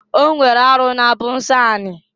O nwere arụ na-abụ nsọ ani.